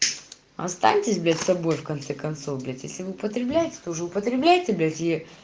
останьтесь блядь собой в конце концов блядь если вы употребляете то уже употребляете блядь и